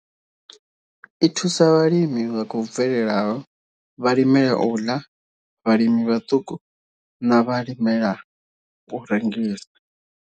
I thusa vhalimi vha khou bvelelaho, vhalimela u ḽa, vhalimi vhaṱuku na vhalimela u rengisa.